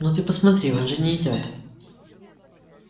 ну ты посмотри он же не идёт